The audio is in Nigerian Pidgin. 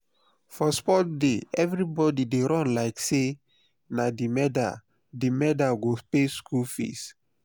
for sports day everybody dey run like say na the medal the medal go pay school fees.